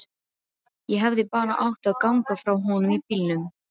Ég hefði bara átt að ganga frá honum í bílnum.